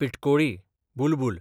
पिटकोळी, बुलबूल